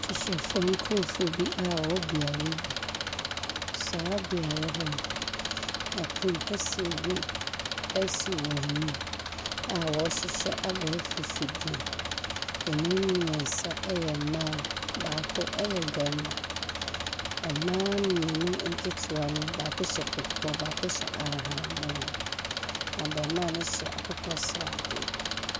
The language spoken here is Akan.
Tikyafo nkurofoɔ a wɔwɔ beaeɛ bi. Saa beaeɛ hɔ no ɛpono kɛseɛ bi ɛsi wɔn anim a wɔn rehyehyɛ abɛɛfo afidie. Ɛmu mmiɛnsa ɛyɛ mmaa baako ɛyɛ bɛɛma. Mmaa mmienu nketewa no baako hyɛ kɔkɔɔ baako hyɛ ahahanmono. Abaamua no hyɛ akokɔsradeɛ.